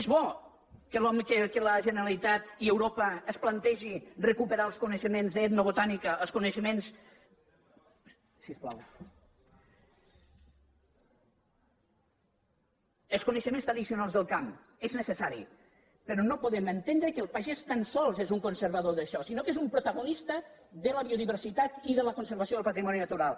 és bo que la generalitat i europa es plantegin recuperar els coneixements d’etnobotànica els coneixements tradicionals del camp és necessari però no podem entendre que el pagès tan sols és un conservador d’això sinó que és un protagonista de la biodiversitat i de la conservació del patrimoni natural